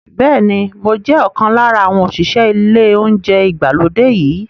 Bẹ́ẹ̀ ni, mo jẹ́ ọ̀kan lára àwọn òṣìṣẹ́ ilé oúnjẹ ìgbàlódé yìí.